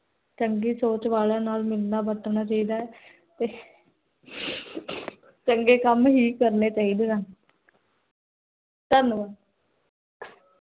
ਚੰਗੀ ਸੋਚ ਵਾਲਾਂ ਨਾਲ ਮਿਲਣਾ ਵਰਤਣਾ ਚਾਹਿਦਾ ਹੈ ਤੇ ਚੰਗੇ ਕਮ ਹੀ ਕਰਨੇ ਚਾਹੀਦੇ ਹਨ ਧਨੀਵਾਦ l